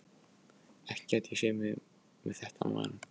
Ekki gæti ég séð mig með þetta á maganum.